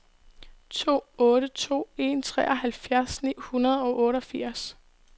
to otte to en treoghalvfjerds ni hundrede og otteogfirs